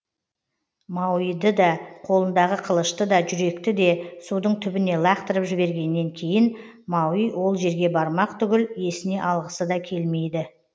мауиды да қолындағы қылышты да жүректі де судың түбіне лақтырып жібергенен кейін мауи ол жерге бармақ түгіл есіне алғысы да келмейді